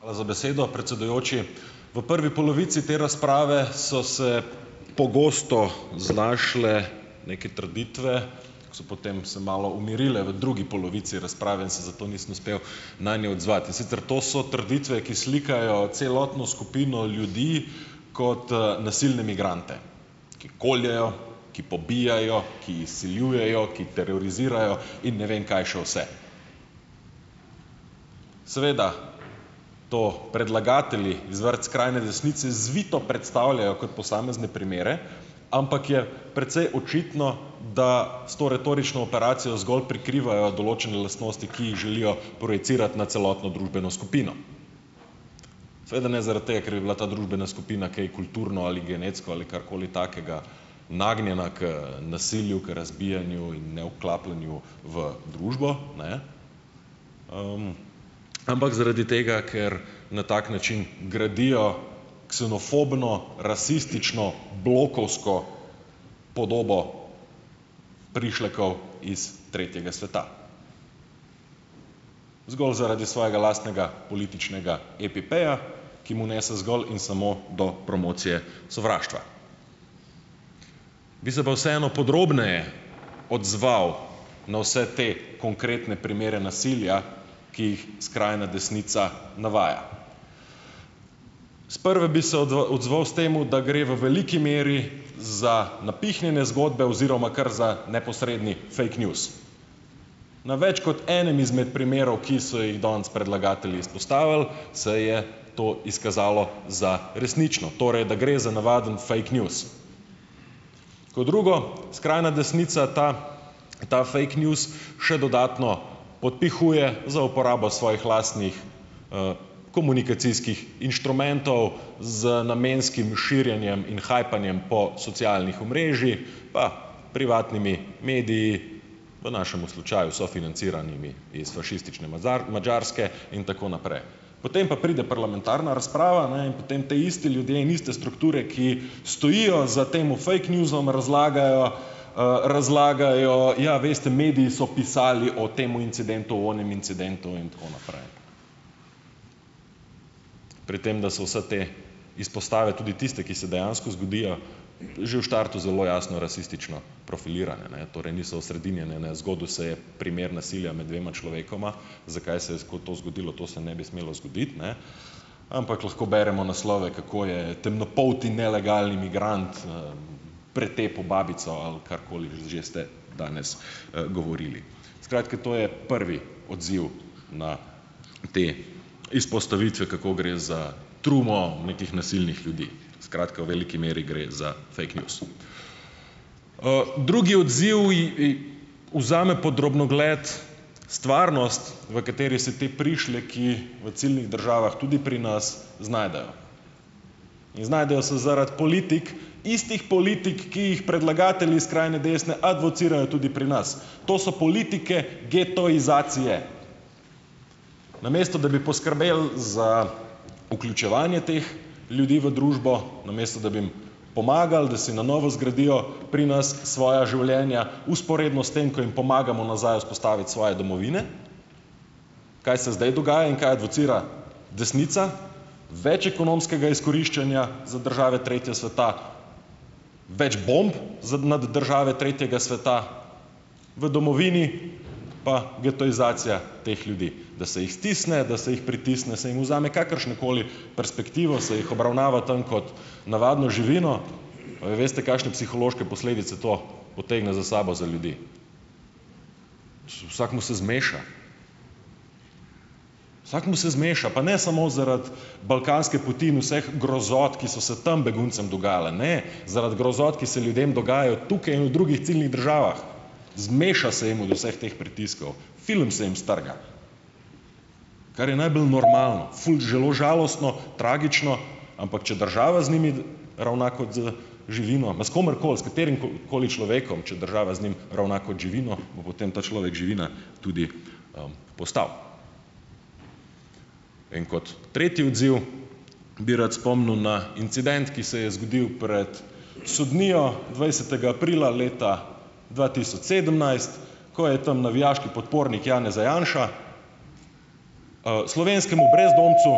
Hvala za besedo, predsedujoči. V prvi polovici te razprave so se pogosto znašle neke trditve, ko so potem se malo umirile v drugi polovici razprave in se zato nisem uspel nanje odzvati, in sicer to so trditve, ki slikajo celotno skupino ljudi kot nasilne migrante, ki koljejo, ki pobijajo, ki izsiljujejo, ki terorizirajo in ne vem kaj še vse. Seveda to predlagatelji iz vrst skrajne desnice zvito predstavljajo kot posamezne primere, ampak je precej očitno, da s to retorično operacijo zgolj prikrivajo določene lastnosti, ki jih želijo projicirati na celotno družbeno skupino, seveda ne zaradi tega, ker bi bila ta družbena skupina kaj kulturno ali genetsko ali karkoli takega nagnjena k nasilju, k razbijanju in nevklapljanju v družbo, ne, ampak zaradi tega, ker na tak način gradijo ksenofobno, rasistično, blokovsko podobo prišlekov iz tretjega sveta zgolj zaradi svojega lastnega političnega EPP-ja, ki mu nese zgolj in samo do promocije sovraštva. Bi se pa vseeno podrobneje odzval na vse te konkretne primere nasilja, ki jih skrajna desnica navaja. Sprva bi se odzval s tem, da gre v veliki meri za napihnjene zgodbe oziroma kar za neposredni fake news. Na več kot enem izmed primerov, ki so jih danes predlagatelji izpostavili, se je to izkazalo za resnično, torej da gre za navaden fake news. Ko drugo, skrajna desnica ta ta fake news še dodatno podpihuje za uporabo svojih lastnih, komunikacijskih inštrumentov z namenskim širjenjem in hajpanjem po socialnih omrežjih, pa privatnimi mediji, v našemu slučaju sofinanciranimi iz fašistične Madžarske in tako naprej. Potem pa pride parlamentarna razprava, ne, in potem ti isti ljudje in iste strukture, ki stojijo za tem fake newsom razlagajo, razlagajo: "Ja, veste, mediji so pisali o tem incidentu, o onem incidentu in tako naprej." Pri tem, da so vse te izpostave, tudi tiste, ki se dejansko zgodijo, že v štartu zelo jasno rasistično profilirane, ne, torej niso osredinjene, ne, zgodil se je primer nasilja med dvema človekoma, zakaj se je to zgodilo, to se ne bi smelo zgoditi, ne, ampak lahko beremo naslove, kako je temnopolti nelegalni migrant, pretepel babico, ali karkoli že ste danes, govorili. Skratka, to je prvi odziv na te izpostavitve, kako gre za trumo nekih nasilnih ljudi. Skratka, v veliki meri gre za fake news. drugi odziv vzame pod drobnogled stvarnost, v kateri se ti prišleki v ciljnih državah, tudi pri nas, znajdejo. In znajdejo se zaradi politik, istih politik, ki jih predlagatelji skrajne desne advocirajo tudi pri nas. To so politike getoizacije. Namesto da bi poskrbeli za vključevanje teh ljudi v družbo, namesto da bi jim pomagali, da si na novo zgradijo pri nas svoja življenja, vzporedno s tem, ko jim pomagamo nazaj vzpostaviti svoje domovine, kaj se zdaj dogaja in kaj advocira desnica? Več ekonomskega izkoriščanja za države tretje sveta, več bomb nad države tretjega sveta, v domovini pa getoizacija teh ljudi, da se jih stisne, da se jih pritisne, se jim vzame kakršnokoli perspektivo, se jih obravnava tam kot navadno živino. A vi veste, kakšne psihološke posledice to potegne za sabo za ljudi? Vsakemu se zmeša, vsakemu se zmeša, pa ne samo zaradi balkanske poti in vseh grozot, ki so se tam beguncem dogajale, ne, zaradi grozot, ki se ljudem dogajajo tukaj in v drugih ciljnih državah, zmeša se jim od vseh teh pritiskov, film se jim strga. Kar je najbolj normalno, ful zelo žalostno, tragično, ampak če država z njimi ravna kot z živino, ma s komerkoli, s katerim koli človekom, če država z njim ravna kot živino, bo potem ta človek živina tudi, postal. In kot tretji odziv bi rad spomnil na incident, ki se je zgodilo pred sodnijo dvajsetega aprila leta dva tisoč sedemnajst, ko je tam navijaški podpornik Janeza Janše, slovenskemu brezdomcu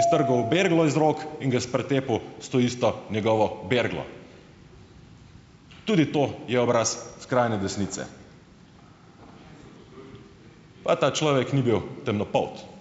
iztrgal berglo iz rok in ga s pretepu s to isto njegovo berglo. Tudi to je obraz skrajne desnice. Pa ta človek ni bil temnopolt.